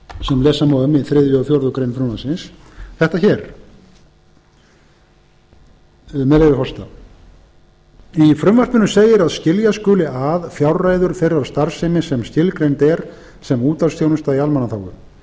sem lesa má um í þriðja og fjórðu grein frumvarpsins þetta hér með leyfi forseta í frumvarpinu segir að skilja skuli að fjárreiður þeirrar starfsemi sem skilgreind er sem útvarpsþjónusta í almannaþágu